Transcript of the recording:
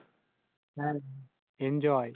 হ্যাঁ Enjoy